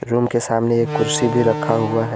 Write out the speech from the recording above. Room के सामने एक कुर्सी भी रखा हुआ है।